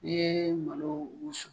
N'i ye malo wusu